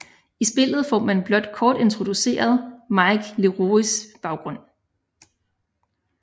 I spillet får man blot kort introduceret Mike Lerois baggrund